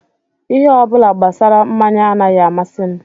Ihe ọ bụla gbasara mmanya anaghị amasị m